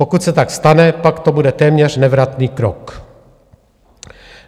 Pokud se tak stane, pak to bude téměř nevratný krok.